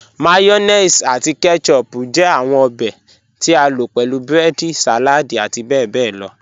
Mayonnaise ati ketchup jẹ awọn obè tí a lo pẹ̀lú breedi, saladi ati bẹbẹ lọ.